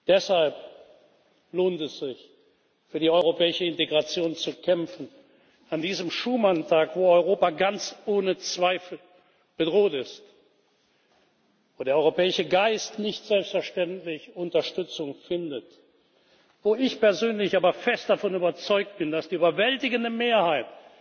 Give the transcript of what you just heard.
Deshalb lohnt es sich, für die europäische Integration zu kämpfen, an diesem Schuman Tag, wo Europa ganz ohne Zweifel bedroht ist und der europäische Geist nicht selbstverständlich Unterstützung findet, wo ich persönlich aber fest davon überzeugt bin, dass die überwältigende Mehrheit